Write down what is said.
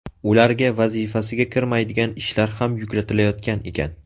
Ularga vazifasiga kirmaydigan ishlar ham yuklatilayotgan ekan.